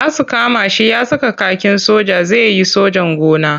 Za su kama shi ya saka kakin soja zai yi sojan gona.